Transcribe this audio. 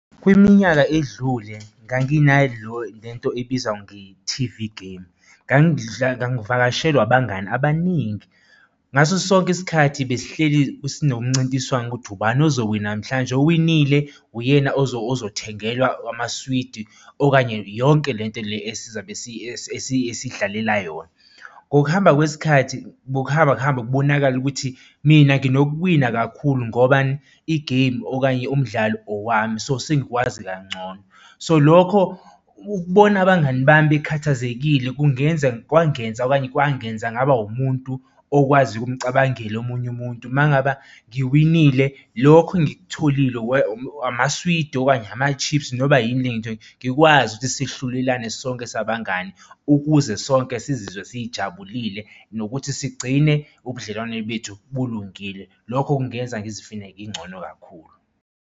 Kwiminyaka edlule ngangina le nto ebizwa nge-T_V game. ngangivakashelwa abangani abaningi. Ngaso sonke isikhathi besihleli sinomncintiswano ukuthi ubani ozowina namhlanje, owinile uyena ozothengelawa amaswidi okanye yonke lento le esizabe esidlalela yona. Ngokuhamba kwesikhathi bekuhamba kuhambe kubonakale ukuthi mina nginokuwina kakhulu ngobani? I-game okanye umdlalo owami, so sengiwazi kangcono. So lokho ukubona abangani bami bekhathazekile kungenza kwangenza okanye kwangenza ngaba umuntu okwaziyo ukumcabangele omunye umuntu, uma ngaba ngiwinile lokho engikutholile amaswidi kanye ama-chips noma yini le ngitholile, ngikwazi ukuthi sihlulelana sonke sabangani, ukuze sonke sizizwa sijabulile nokuthi sigcine ubudlelwano bethu bulungile, lokho kungenza ngizifile ngingcono kakhulu.